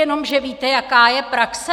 Jenomže víte, jaká je praxe?